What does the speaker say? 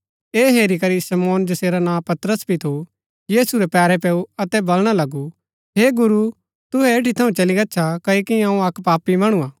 ऐह हेरी करी शमौन जैसेरा नां पतरस भी थू यीशु रै पैरै पैऊ अतै वलणा लगू हे गुरू तुहै ऐठी थऊँ चली गच्छा क्ओकि अऊँ अक्क पापी मणु हा